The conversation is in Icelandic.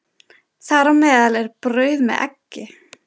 Þar á meðal er brauð með eggi.